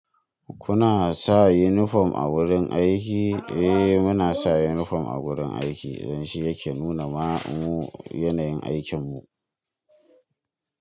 Kuna sa unifom a wurin aiki? Eh muna sa unifom a wurin aiki, don shi yake nuna mamu yanayin aikin mu.